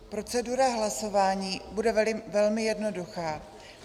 Procedura hlasování bude velmi jednoduchá.